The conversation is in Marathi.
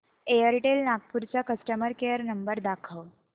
एअरटेल नागपूर चा कस्टमर केअर नंबर दाखव